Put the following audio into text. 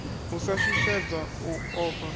u sa shushedzwa u ofha